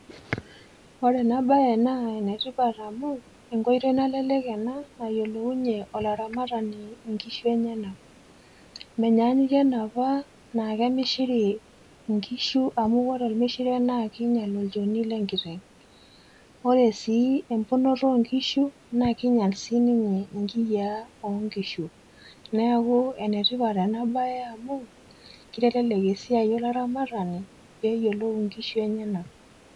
Ore ena bae naa enetipat amu, enkoitoi nalelek ena nayiolounye olaramatani nkishu enyanak. Menyaanyukie enapa naa kemishiri nkishu amu ore ormishire naa kiinyal olchoni lenkiteng'. Ore si emponoto onkishu, na kinyal sininye inkiyiaa onkishu. Neeku enetipat enabae amu, kitelelek esiai olaramatani peyiolou inkishu enyanak.